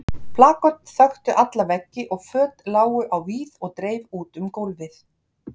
Plaköt þöktu alla veggi og föt lágu á víð og dreif út um gólfið.